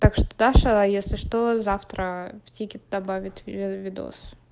так что даша а если что завтра в тикет добавит мой видос